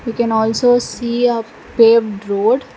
we can also see a paved road.